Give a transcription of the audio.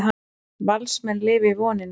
Valsmenn lifa í voninni